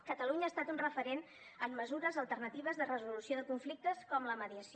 catalunya ha estat un referent en mesures alternatives de resolució de conflictes com la mediació